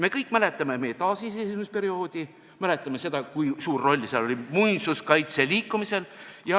Me kõik mäletame meie taasiseseisvumisperioodi, mäletame seda, kui suur roll seal oli muinsuskaitseliikumisel.